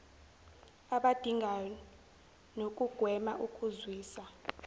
abadingayo nokugwema ukuzwisa